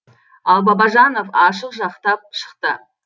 ал бабажанов ашық жақтап шықты